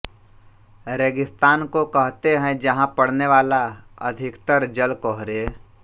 रेगिस्तान को कहते हैं जहाँ पड़ने वाला अधिकतर जल कोहरे